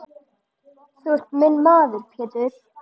Þú ert minn maður Pétur.